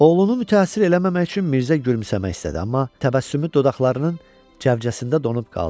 Oğlunu mütəəssir eləməmək üçün Mirzə gülümsəmək istədi, amma təbəssümü dodaqlarının cəvcəsində donub qaldı.